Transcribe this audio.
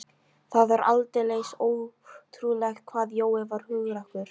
Það var aldeilis ótrúlegt hvað Jói var hugrakkur.